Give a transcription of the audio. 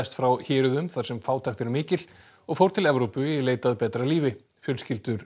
frá héruðum þar sem fátækt er mikil og fóru til Evrópu í leit að betra lífi fjölskyldur